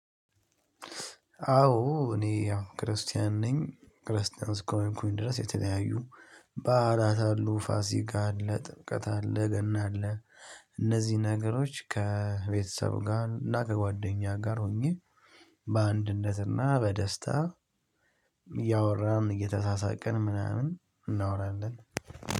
አዎ እኔ ያው ክርስቲያን ነኝ ክርስቲያን እስከሆንኩኝ ድረስ የተለያዩ ባዕላት አሉ ፋሲካ አለ ጥምቀት አለ ገና አለ። እነዚህ ነገሮች ከቤተሰብ ጋር እና ከጓደኛ ጋር ሆኜ በአንድነት እና በደስታ እያወራን እየተሳሳቅን ምናምን እናወራለን